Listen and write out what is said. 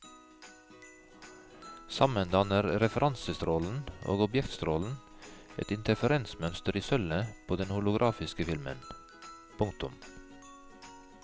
Sammen danner referansestrålen og objektstrålen et interferensmønster i sølvet på den holografiske filmen. punktum